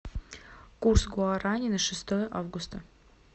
курс гуарани на шестое августа